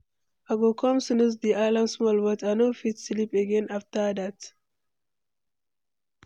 I go come snooze di alarm small, but I no fit sleep again after that.